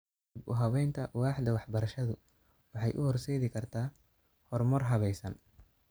Dib u habaynta waaxda waxbarashadu waxay u horseedi kartaa horumar habaysan.